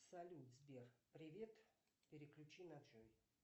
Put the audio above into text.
салют сбер привет переключи на джой